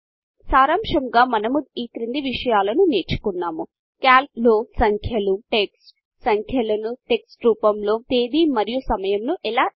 సారాంశముగా మనము ఈ క్రింది విషయాలను నేర్చుకున్నాము క్యాల్క్ లో సంఖ్యలు టెక్స్ట్ సంఖ్యలను టెక్స్ట్రూపములో తేదీ మరియు సమయమును ఎలాఎంటర్చేయాలి